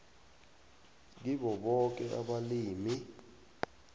kibo boke abalimi